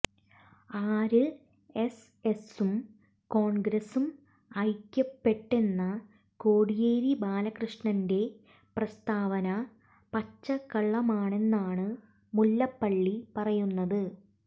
ആര്എസ്എസ്സും കോണ്ഗ്രസും ഐക്യപ്പെട്ടെന്ന കോടിയേരി ബാലകൃഷ്ണന്റെ പ്രസ്താവന പച്ചക്കള്ളമാണെന്നാണ് മുല്ലപ്പള്ളി പറയുന്നത്